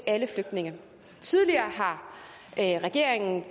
alle flygtninge tidligere har regeringen